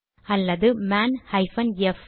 அல்லது man hyphen F